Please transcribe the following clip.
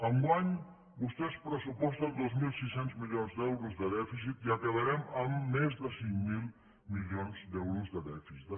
enguany vostès pressuposten dos mil sis cents milions d’euros de dèficit i acabarem amb més de cinc mil milions d’euros de dèficit